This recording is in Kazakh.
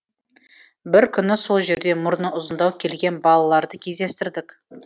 бір күні сол жерде мұрны ұзындау келген балаларды кездестірдік